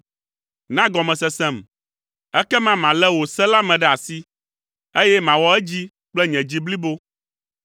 Na gɔmesesem, ekema malé wò se la me ɖe asi, eye mawɔ edzi kple nye dzi blibo.